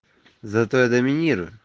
зато я доминирую